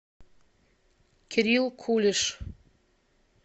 кирилл кулиш